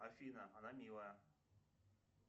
афина она милая